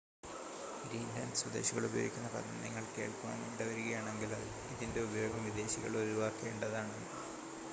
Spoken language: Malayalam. ഗ്രീൻലാൻഡ് സ്വദേശികൾ ഉപയോഗിക്കുന്ന പദം നിങ്ങൾ കേൾക്കുവാൻ ഇടവരുകയാണെങ്കിൽ ഇതിൻ്റെ ഉപയോഗം വിദേശികൾ ഒഴിവാക്കേണ്ടതാണ്